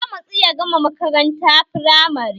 Ya matsu ya gama makaranta firamare